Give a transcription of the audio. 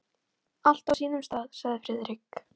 Allt á sínum stað sagði Friðrik.